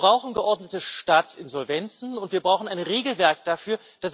Wir brauchen geordnete Staatsinsolvenzen, und wir brauchen ein Regelwerk dafür.